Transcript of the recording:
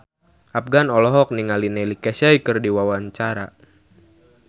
Afgan olohok ningali Neil Casey keur diwawancara